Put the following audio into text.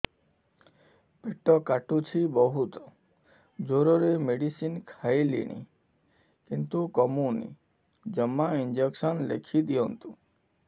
ପେଟ କାଟୁଛି ବହୁତ ଜୋରରେ ମେଡିସିନ ଖାଇଲିଣି କିନ୍ତୁ କମୁନି ଜମା ଇଂଜେକସନ ଲେଖିଦିଅନ୍ତୁ